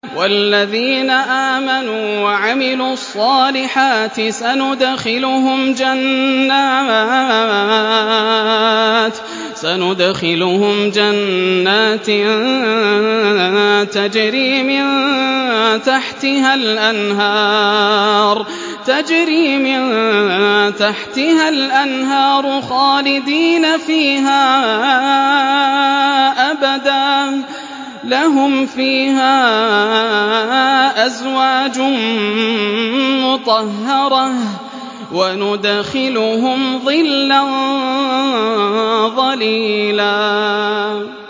وَالَّذِينَ آمَنُوا وَعَمِلُوا الصَّالِحَاتِ سَنُدْخِلُهُمْ جَنَّاتٍ تَجْرِي مِن تَحْتِهَا الْأَنْهَارُ خَالِدِينَ فِيهَا أَبَدًا ۖ لَّهُمْ فِيهَا أَزْوَاجٌ مُّطَهَّرَةٌ ۖ وَنُدْخِلُهُمْ ظِلًّا ظَلِيلًا